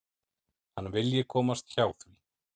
Hann vilji komast hjá því.